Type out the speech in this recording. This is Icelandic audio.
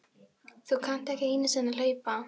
Þú kannt ekki einu sinni að hlaupa